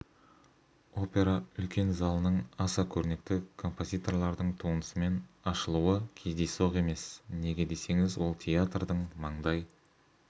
опера үлкен залының аса көрнекті композиторлардың туындысымен ашылуы кездейсоқ емес неге десеңіз ол театрдың маңдай